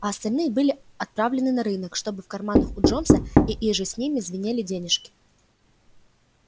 а остальные были отправлены на рынок чтобы в карманах у джонса и иже с ними звенели денежки